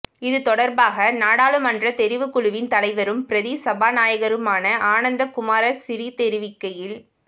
இது தொடர்பாக நாடாளுமன்ற தெரிவுக்குழுவின் தலைவரும் பிரதி சபாநாயகருமான ஆனந்த குமாரசிறி தெரிவிக்கையில்